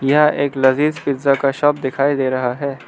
यह एक लजीज पिज्जा का शॉप दिखाई दे रहा है।